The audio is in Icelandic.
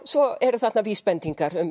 svo eru þarna vísbendingar um